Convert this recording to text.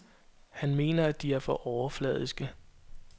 Han mener, at de er for overfladiske.